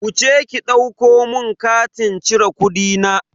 Wuce ki ɗauko mun katin cire kudina.